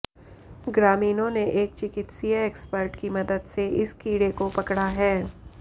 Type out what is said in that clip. ग्रामीणों ने एक चिकित्सीय एक्सपर्ट की मदद से इस कीड़े को पकड़ा है